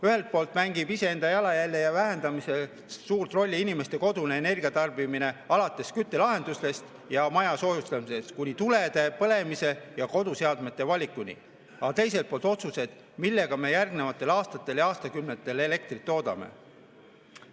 Ühelt poolt mängib iseenda jalajälje vähendamises suurt rolli inimeste kodune energiatarbimine, alates küttelahendustest ja maja soojustamisest kuni tulede põlemise ja koduseadmete valikuni, aga teiselt poolt otsused, millega me järgmistel aastatel ja aastakümnetel elektrit toodame.